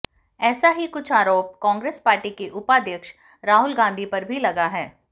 ऐसा ही कुछ आरोप कांग्रेस पार्टी के उपाध्यक्ष राहुल गांधी पर भी लगा है